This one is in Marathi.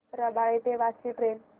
रबाळे ते वाशी ट्रेन